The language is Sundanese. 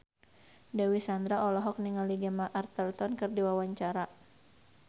Dewi Sandra olohok ningali Gemma Arterton keur diwawancara